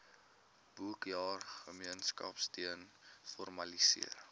boekjaar gemeenskapsteun formaliseer